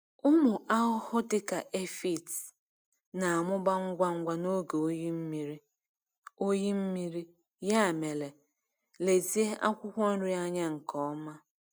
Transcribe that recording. Ụmụ ahụhụ dịka aphid na-amụba ngwa ngwa n’oge oyi mmiri, oyi mmiri, ya mere lezie akwụkwọ nri anya nke ọma.